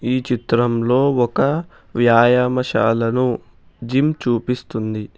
ఈ చిత్రంలో ఒక వ్యాయామశాలను జిమ్ చూపిస్తుంది.